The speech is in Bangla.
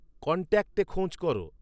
কন্ট্যাক্টে খোঁজ কর